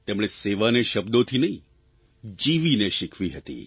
તેમણે સેવાને શબ્દોથી નહીં જીવીને શીખવી હતી